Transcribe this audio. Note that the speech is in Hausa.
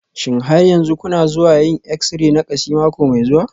Shin har yanzu kuna zuwa yin exi-ray na kashi mako mai zuwa?